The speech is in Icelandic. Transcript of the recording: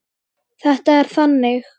Þetta er þannig.